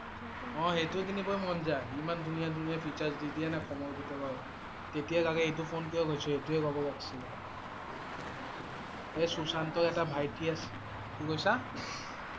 অ' সেইটোৱেই কিনিব মন যাই, ইমান ধুনীয়া ধুনীয়া features দি দিয়ে না কমৰ ভিতৰত, তেতিয়া লাগে এইটো ফোন কিয় লৈছোঁ। এইটোৱে ল'ব লাগিছিল এই সুশান্তৰ এটা ভাইটি আছ। কি কৈছা?